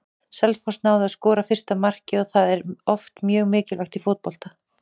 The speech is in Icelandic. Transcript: Selfoss náði að skora fyrsta markið og það er oft mjög mikilvægt í fótbolta.